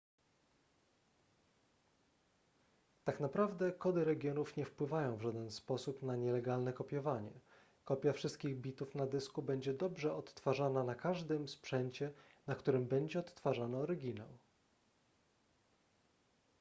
tak naprawdę kody regionów nie wpływają w żaden sposób na nielegalne kopiowanie kopia wszystkich bitów na dysku będzie dobrze odtwarzana na każdym sprzęcie na którym będzie odtwarzany oryginał